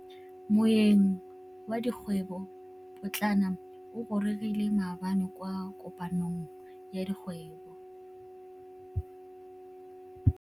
Moêng wa dikgwêbô pôtlana o gorogile maabane kwa kopanong ya dikgwêbô.